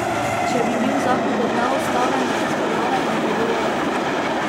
Če bi bil zakon kot neustaven razveljavljen, bi bilo lažje.